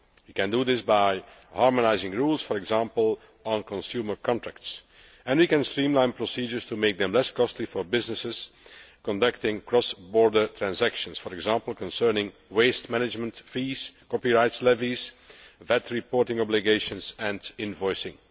We can do this by harmonising rules, for example, on consumer contracts, and we can streamline procedures to make them less costly for businesses conducting cross border transactions, for example, concerning waste management fees, copyright levies, VAT reporting obligations and invoicing.